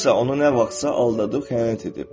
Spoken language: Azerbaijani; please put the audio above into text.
Kimsə onu nə vaxtsa aldadıb xəyanət edib.